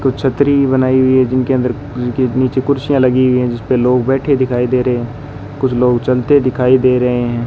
कुछ छत्री बनाई हुई हैं जिनके अंदर उसके नीचे ख़ुर्सियां लगी हुई हैं जिसपे लोग बैठे दिखाई दे रहे हैं कुछ लोग चलते दिखाई दे रहे हैं।